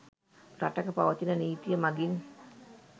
රටක පවතින නීතිය මගින්